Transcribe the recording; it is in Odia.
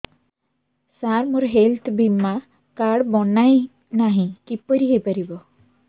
ସାର ମୋର ହେଲ୍ଥ ବୀମା କାର୍ଡ ବଣାଇନାହିଁ କିପରି ହୈ ପାରିବ